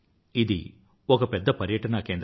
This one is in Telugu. ఇది ఒక పెద్ద పర్యటనా కేంద్రం